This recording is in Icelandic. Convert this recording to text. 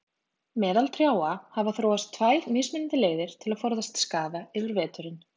Meðal trjáa hafa þróast tvær mismunandi leiðir til að forðast skaða yfir veturinn.